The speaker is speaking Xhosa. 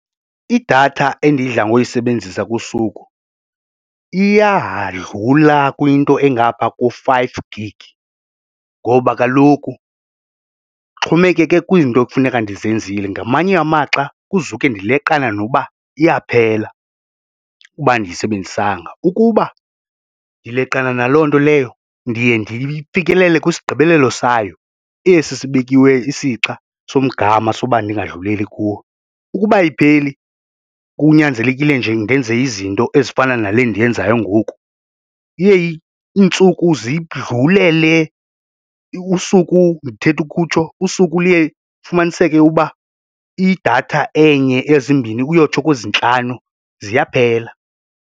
Idatha endidla ngoyisebenzisa kusuku iyadlula kwinto engapha ko-five gig ngoba kaloku kuxhomekeke kwizinto ekufuneka ndizenzile, ngamanye amaxa kuzuke ndileqana nokuba iyaphela ukuba andiyisebenzisanga. Ukuba ndileqana naloo nto leyo ndiye ndifikelele kwisigqibelelo sayo esi sibekiweyo isixa somngama soba ndingadluleli kuwo. Ukuba ayipheli kunyanzelekile nje ndenze izinto ezifana nale ndiyenzayo ngoku iye iintsuku zidlulele, usuku ndithetha ukutsho usuku liye ufumaniseke uba idatha enye, ezimbini uyotsho kwezintlanu ziyaphela.